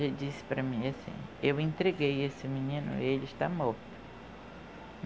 Ela disse para mim assim, eu entreguei esse menino e ele está morto.